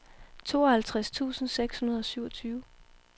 tooghalvtreds tusind seks hundrede og syvogtyve